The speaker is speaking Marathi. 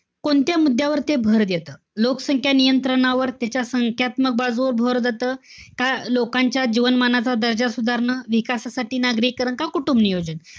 कोणत्या मुद्द्यावर ते भर देतं? लोकसंख्या नियंत्रणावर, त्याच्या संख्यात्मक बाजूवर भर देतं? का लिकांच्या जीवनमानाचा दर्जा सुधारणा, विकासासाठी नागरीकरण, का कुटुंबनियोजन?